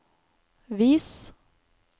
vis